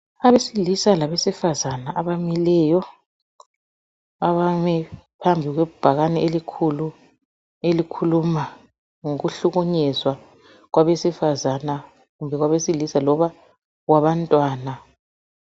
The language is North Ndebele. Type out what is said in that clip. Abesilisa labesifazana abamileyo, abame phambi kwebhakane elikhulu elikhuluma ngokuhlukunyezwa kwabesifazana kumbe kwabesilisa loba kwabantwana.